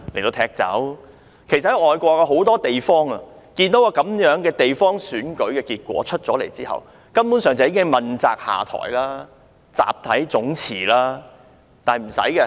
在很多外國地方，如果地方選舉結果如此一面倒，當地官員根本已要問責下台，甚至集體辭職。